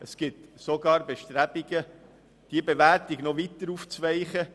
Es gibt sogar Bestrebungen, diese Bewertung noch weiter aufzuweichen.